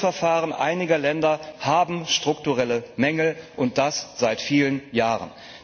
Die Prüfverfahren einiger Länder haben strukturelle Mängel, und das seit vielen Jahren.